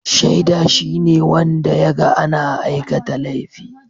Shaida shine wanda ya ga ana aikata laifi